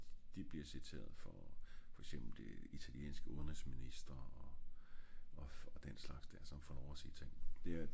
de bliver citeret for for eksempel det italienske udenrigsminister og den slags der der får lov at sige ting